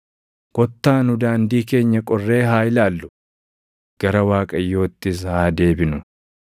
Kottaa nu daandii keenya qorree haa ilaallu; gara Waaqayyoottis haa deebinu.